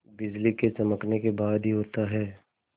बिजली के चमकने के बाद ही होता है